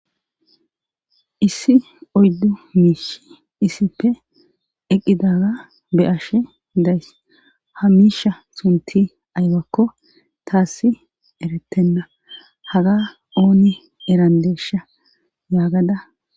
Issi oyddu miishi issippe eqqidaga be ashe days ha miisha sunti aybakko taassi eretenna haga ooni erandesha yaagada.